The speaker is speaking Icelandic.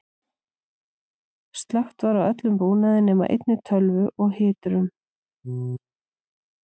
slökkt var á öllum búnaði nema einni tölvu og hiturum